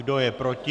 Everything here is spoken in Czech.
Kdo je proti?